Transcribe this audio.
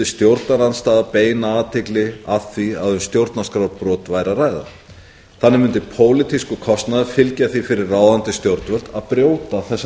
stjórnarandstaðan beina athygli að því að um stjórnarskrárbrot væri að ræða þannig mundi pólitískur kostnaður fylgja því fyrir ráðandi stjórnvöld að brjóta regluna stjórnvöld í mörgum löndum hafa í